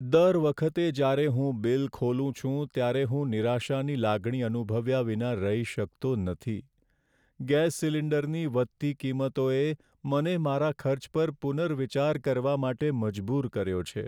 દર વખતે જ્યારે હું બિલ ખોલું છું, ત્યારે હું નિરાશાની લાગણી અનુભવ્યા વિના રહી શકતો નથી. ગેસ સિલિન્ડરની વધતી કિંમતોએ મને મારા ખર્ચ પર પુનર્વિચાર કરવા માટે મજબૂર કર્યો છે.